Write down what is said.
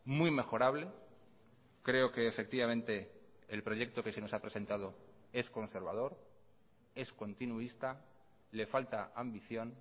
muy mejorable creo que efectivamente el proyecto que se nos ha presentado es conservador es continuista le falta ambición